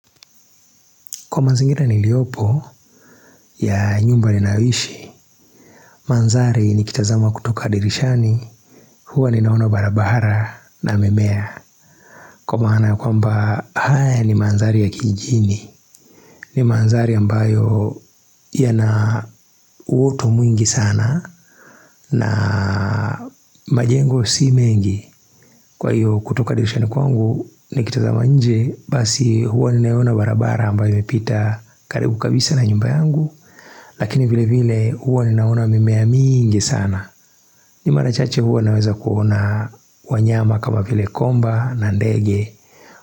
Kwa mazingira niliyopo ya nyumba ninayoishi, mandhari nikitazama kutoka dirishani, huwa ninaona barabara na mimea. Kwa maana ya kwamba haya ni mandhari ya kijini, ni mandhari ambayo yana utu mwingi sana na majengo si mengi. Kwa hiyo kutoka dirishani kwangu nikitazama nje, basi huwa ninaona barabara ambayo imepita karibu kabisa na nyumba yangu. Lakini vile vile huwa ninaona mimea mingi sana ni mara chache huwa naweza kuona wanyama kama vile komba na ndege.